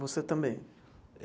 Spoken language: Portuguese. Você também?